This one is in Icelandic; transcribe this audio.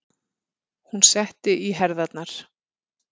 Hún setti í herðarnar.